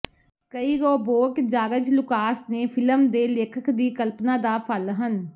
ਕਈ robot George Lucas ਨੇ film ਦੇ ਲੇਖਕ ਦੀ ਕਲਪਨਾ ਦਾ ਫਲ ਹਨ